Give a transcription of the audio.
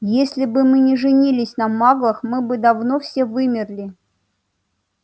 если бы мы не женились на маглах мы бы давно все вымерли